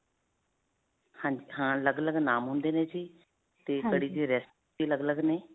ਹਾਂਜੀ, ਹਾਂ. ਅਲੱਗ-ਅਲੱਗ ਨਾਮ ਹੁੰਦੇ ਨੇ ਜੀ ਤੇ ਕੜੀ ਦੀ recipe ਅਲੱਗ-ਅਲੱਗ ਨੇ.